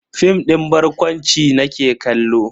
Fim din barkwanci nake kallo.